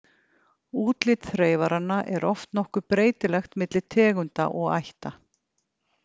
Útlit þreifaranna er oft nokkuð breytilegt milli tegunda og ætta.